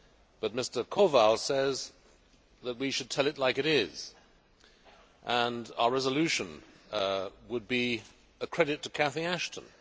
But Mr Kowal says that we should tell it like it is, and our resolution would be a credit to Cathy Ashton.